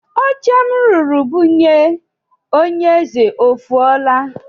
Oche m rụrụ bunye onye eze o fuola?